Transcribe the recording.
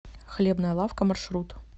хлебная лавка маршрут